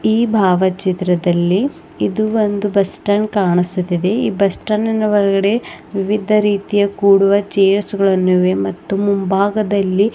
ಈ ಭಾವಚಿತ್ರದಲ್ಲಿ ಇದು ಒಂದು ಬಸ್‌ ಸ್ಟ್ಯಾಂಡ್ ಕಾಣಿಸುತ್ತಿದೆ ಈ ಬಸ್‌ ಸ್ಟ್ಯಾಂಡಿನ್ ಒಳಗಡೆ ವಿವಿಧ ರೀತಿಯ ಕೂಡುವ ಚೇರ್ಸ್ ಗಳನ್ನು ಇವೆ ಮತ್ತು ಮುಂಭಾಗದಲ್ಲಿ. --